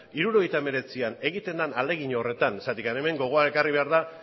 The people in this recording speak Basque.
mila bederatziehun eta hirurogeita hemeretzian egiten den ahalegin horretan zergatik hemen gogoan ekarri behar da